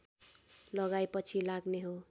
लगाइ पछि लाग्ने हो